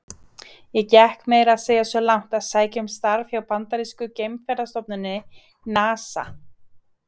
Ég gekk meira að segja svo langt að sækja um starf hjá bandarísku geimferðastofnuninni, NASA.